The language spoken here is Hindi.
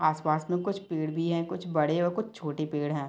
आस पास में कुछ पेड़ भी है कुछ बड़े और कुछ छोटे पेड़ है।